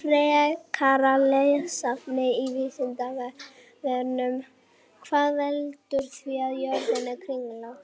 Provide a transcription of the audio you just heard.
Frekara lesefni á Vísindavefnum: Hvað veldur því að jörðin er kringlótt?